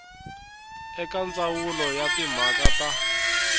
eka ndzawulo ya timhaka ta